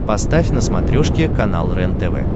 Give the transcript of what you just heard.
поставь на смотрешке канал рентв